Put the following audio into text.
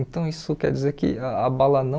Então, isso quer dizer que a bala não...